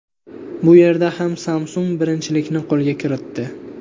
Bu yerda ham Samsung birinchilikni qo‘lga kiritdi.